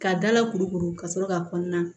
Ka dala kuru kuru ka sɔrɔ k'a kɔnɔna